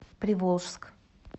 приволжск